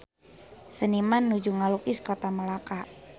Seniman nuju ngalukis Kota Melaka